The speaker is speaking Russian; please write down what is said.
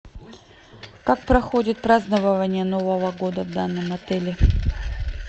как проходит празднование нового года в данном отеле